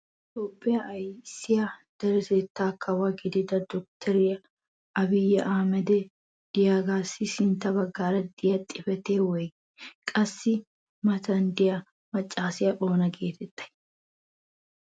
toophphiya ayssiya deretettaa kawo gidiyaa dotoriya aabiyi ahimmedi diyaagaassi sintta bagaara beettiyaa xifatee woygii? qassi a matan diya maccaassiya oona geetettay?